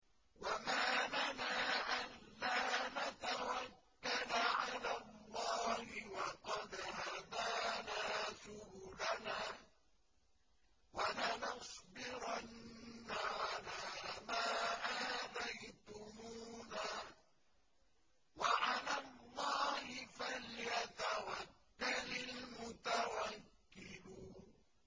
وَمَا لَنَا أَلَّا نَتَوَكَّلَ عَلَى اللَّهِ وَقَدْ هَدَانَا سُبُلَنَا ۚ وَلَنَصْبِرَنَّ عَلَىٰ مَا آذَيْتُمُونَا ۚ وَعَلَى اللَّهِ فَلْيَتَوَكَّلِ الْمُتَوَكِّلُونَ